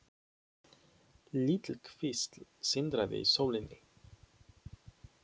Lítil kvísl sindraði í sólinni.